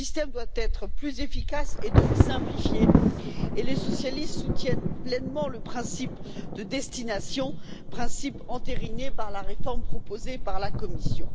Ce système doit être plus efficace et donc simplifié, et les socialistes soutiennent pleinement le principe de destination, principe entériné par la réforme proposée par la Commission.